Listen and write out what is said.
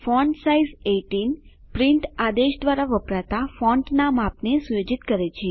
font size 18 print આદેશ દ્વારા વપરાતા ફોન્ટનાં માપને સુયોજિત કરે છે